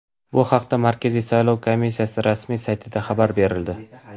Bu haqda Markaziy saylov komissiyasi rasmiy saytida xabar berildi .